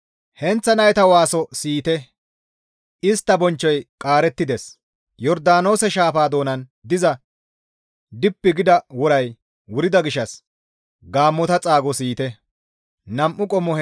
Heenththa nayta waaso siyite; istta bonchchoy qaarettides; Yordaanoose shaafa doonan diza dhippi gida woray wurida gishshas gaammota xaago siyite.